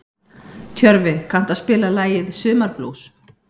Tjörfi, kanntu að spila lagið „Sumarblús“?